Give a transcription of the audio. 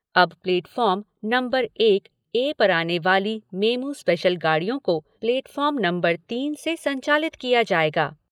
अब platform number एक A पर आने वाली मेमू स्पेशल गाड़ियों को प्लेटफॉर्म नंबर तीन से संचालित किया जाएगा।